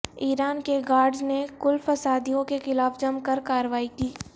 ایران کے گاڑڈز نے کل فسادیوں کے خلاف جم کر کاروائی کی